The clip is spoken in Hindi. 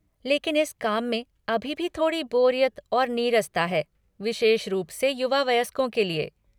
लेकिन इस काम में अभी भी थोड़ी बोरियत और नीरसता है, विशेष रूप से युवा वयस्कों के लिए।